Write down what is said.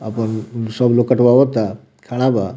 अपन सब लोग कटवावा ता खड़ा बा।